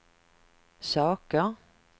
saker